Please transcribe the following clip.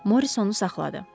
Morissonu saxladı.